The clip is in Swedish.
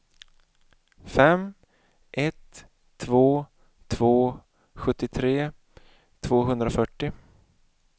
fem ett två två sjuttiotre tvåhundrafyrtio